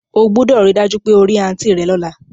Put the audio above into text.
O gbúdọ̀ ri dájú pe o ri aunt rẹ lọ́la